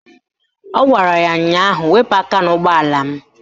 Ọ gwara ya ụnyaahụ "Wepu aka n'ụgbọala m"!